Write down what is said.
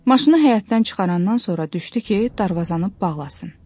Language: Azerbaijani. Maşını həyətdən çıxarandan sonra düşdü ki, darvazanı bağlasın.